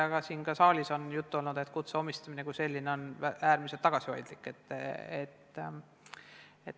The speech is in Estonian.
Ka siin saalis on olnud juttu, et kutse omandanute arv on äärmiselt tagasihoidlik.